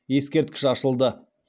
ескерткіш ашылды